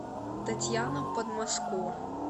татьяна подмоско